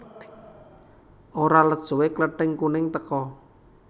Ora let suwé Klething kuning teka